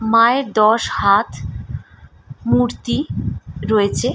মায়ের দশ হাত মূর্তি রয়েছে।